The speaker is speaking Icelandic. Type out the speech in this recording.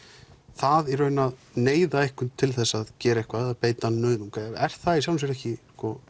það að neyða einhvern til þess að gera eitthvað eða beita nauðung er það ekki